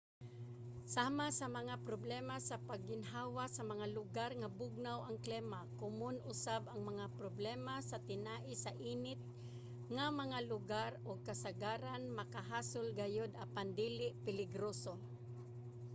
sama sa mga problema sa pagginhawa sa mga lugar nga bugnaw ang klima komon usab ang mga problema sa tinai sa init nga mga lugar ug kasagaran makahasol gayod apan dili peligroso